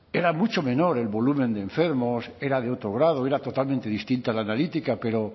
era mucho menor el volumen de enfermos era de otro grado era totalmente distinta la analítica pero